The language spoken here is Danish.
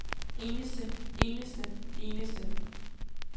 eneste eneste eneste